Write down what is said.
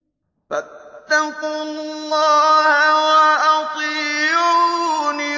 فَاتَّقُوا اللَّهَ وَأَطِيعُونِ